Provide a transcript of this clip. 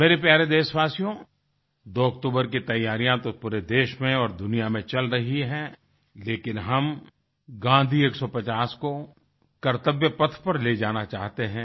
मेरे प्यारे देशवासियो 2 अक्टूबर की तैयारियाँ तो पूरे देश में और दुनिया में चल रही हैं लेकिन हम गाँधी 150 को कर्तव्यपथ पर ले जाना चाहते हैं